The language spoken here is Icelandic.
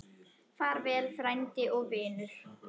Far vel frændi og vinur.